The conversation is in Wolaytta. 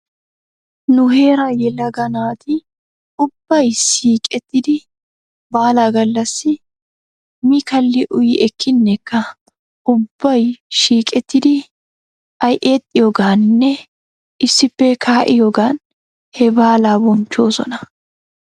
Nu heeraa yelaga naati ubbay siiqettidi baalaa gallassi mi kalli uyi ekkineekka ubbay shiiqettidi aexxiyoogaaninne issippe kaa'iyoogan he baalaa bonchchoosona.